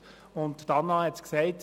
Grossrätin Linder hat es gesagt: